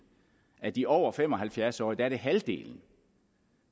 af de over fem og halvfjerds årige er det halvdelen